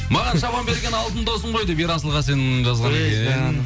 маған шапан берген алтын досым ғой деп ерасыл қасен жазған екен эй жаным